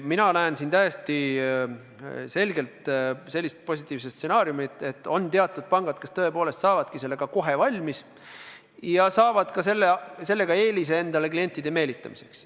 Mina näen täiesti selgelt sellist positiivset stsenaariumi, et on teatud pangad, kes tõepoolest saavadki sellega kiiresti valmis ja saavad sellega eelise endale klientide meelitamiseks.